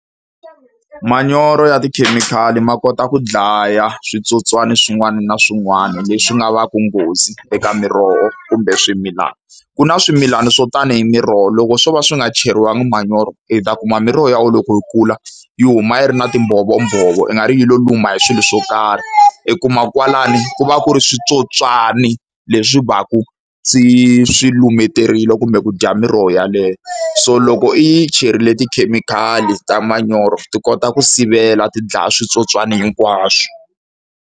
Manyoro ya tikhemikhali ma kota ku dlaya switsotswana swin'wana na swin'wana leswi nga va ku nghozi eka miroho, kumbe swimilani. Ku na swimilana swo tanihi miroho loko swo va swi nga cheriwangi manyoro, i ta kuma miroho ya wena loko yi kula yi huma yi ri na timbhovombhovo ingari yi lo luma hi swilo swo karhi. I kuma kwalano ku va ku ri switsotswani leswi va ku swi swi lumeterile kumbe ku dya miroho yaleyo. So loko i yi cherile tikhemikhali ta manyoro, ti kota ku sivela, ti dlaya switsotswani hinkwaswo.